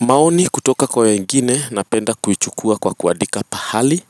Maoni kutoka kwa wengine napenda kuchukua kwa kuandika pahali,